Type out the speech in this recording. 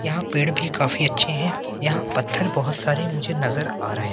यहां पेड़ भी काफी अच्छे हैं यहां पत्थर बहोत सारे मुझे नजर आ रहे हैं।